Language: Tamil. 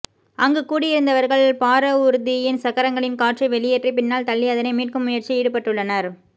அங்கு கூடியிருந்தவர்கள் பாரவூர்தியின் சக்கரங்களின் காற்றை வெளியேற்றி பின்னால் தள்ளி அதனை மீட்கும் முயற்சியில் ஈடுபட்டுள்ளனர்